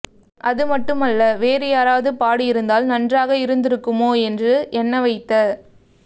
அதுமட்டுமல்ல வேறு யாரவது பாடியிருந்தால் நன்றாக இருந்துக்குமோ என்று எண்ண வைத்த